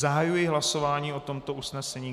Zahajuji hlasování o tomto usnesení.